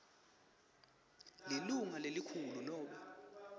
lilunga lelikhulu nobe